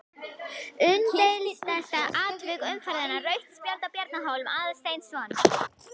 Umdeildasta atvik umferðarinnar: Rautt spjald á Bjarna Hólm Aðalsteinsson?